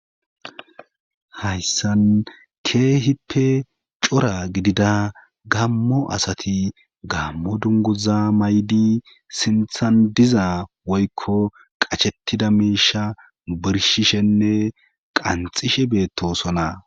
hayssan keehippe cora gidida gammo asati gammo dunguza maydi sinthan diza woykko qachettida miisha birshishenne qanxishe beettosona